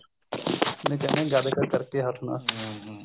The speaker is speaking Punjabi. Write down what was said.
ਜਿਵੇਂ ਕਹਿਨੇ ਗਦ ਗਦ ਕਰਕੇ ਹੱਸਣਾ ਹਮ ਹਮ